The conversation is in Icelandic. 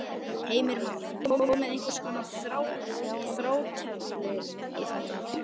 Heimir Már: Er komið einhvers konar þrátefli í þetta?